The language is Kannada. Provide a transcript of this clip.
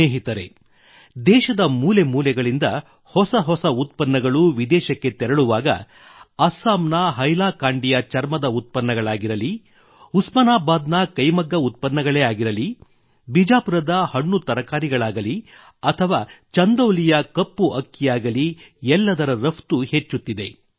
ಸ್ನೇಹಿತರೆ ದೇಶದ ಮೂಲೆಮೂಲೆಗಳಿಂದ ಹೊಸ ಹೊಸ ಉತ್ಪನ್ನಗಳು ವಿದೇಶಕ್ಕೆ ತೆರಳುವಾಗ ಅಸ್ಸಾಂನ ಹೈಲಾಕಾಂಡಿಯ ಚರ್ಮದ ಉತ್ಪನ್ನಗಳಾಗಿರಲಿ ಉಸ್ಮಾನಾಬಾದ್ ನ ಕೈಮಗ್ಗ ಉತ್ಪನ್ನಗಳೇ ಆಗಿರಲಿ ಬೀಜಾಪುರದ ಹಣ್ಣು ತರಕಾರಿಗಳಾಗಲಿ ಅಥವಾ ಚಂದೌಲಿಯ ಕಪ್ಪು ಅಕ್ಕಿಯಾಗಲಿ ಎಲ್ಲದರ ರಫ್ತು ಹೆಚ್ಚುತ್ತಿದೆ